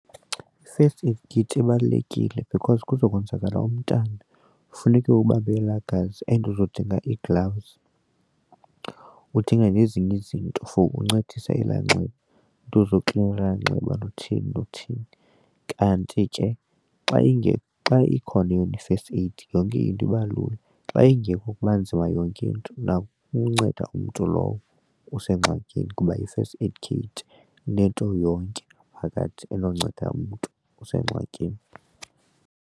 I-first aid kit ibalulekile because kuzawukwenzakala umntana funeke ubambe elaa gazi and uzodinga ii-gloves udinge nezinye izinto for uncedisa elaa nxeba iinto zoklina ela nxeba nothini nothini. Kanti ke xa ingekho xa ikhona yona i-first aid yonke into iba lula, xa ingekho kuba nzima yonke into nakukunceda umntu lowo usengxakini kuba i-first aid kit inento yonke phakathi enonceda umntu osengxakini.